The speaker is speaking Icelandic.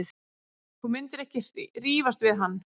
Þú myndir ekki rífast við hann.